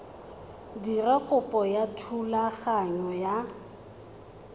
dira kopo ya thulaganyo ya